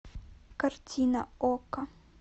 картина окко